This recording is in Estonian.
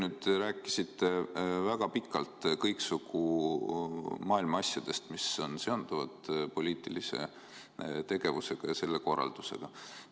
Te nüüd rääkisite väga pikalt kõiksugu maailma asjadest, mis on seondunud poliitilise tegevusega ja selle korraldusega.